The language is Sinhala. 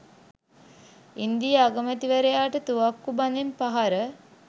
ඉන්දීය අගමැතිවරයාට තුවක්කු බඳෙන් පහර